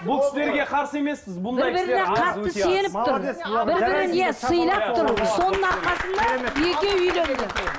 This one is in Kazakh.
бұл кісілерге қарсы емеспіз бұндай кісілер бір біріне қатты сеніп тұр бір бірін иә сыйлап тұр соның арқасында екеуі үйленді